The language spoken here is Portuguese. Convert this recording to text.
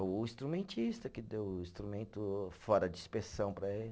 O instrumentista, que deu o instrumento fora de inspeção para ele.